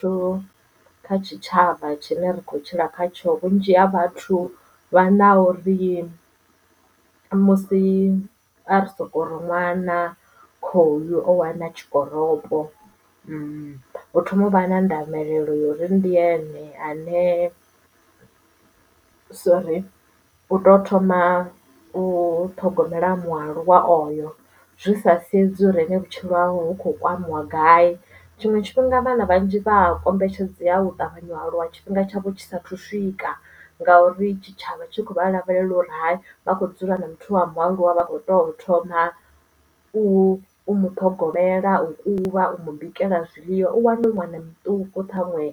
Thuso kha tshitshavha tshine ra kho tshila kha tsho vhunzhi ha vhathu vha na uri musi a ri sokori ṅwana khoyu o wana tshikoropo u thoma u vha na ndavhelelo ya uri ndi ene ane sori u to thoma u ṱhogomela mualuwa oyo zwi sa sedzi uri ene vhutshilo hawe hu kho kwamiwa gai. Tshiṅwe tshifhinga vhana vhanzhi vha kombetshedzea u ṱavhanya u aluwa tshifhinga tshavho tshisa sathu swika ngauri tshitshavha tshi khou vha lavhelela uri hai vha kho dzula na muthu wa mualuwa vha kho to thoma u muṱhogomela u kuvha u mu bikela zwiḽiwa u wane hu ṅwana muṱuku ṱhaṅwe